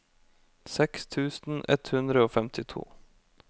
seks tusen ett hundre og femtito